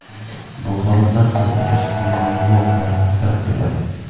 Bu holatlar hazm qilish tizimidagi muammolardan darak beradi.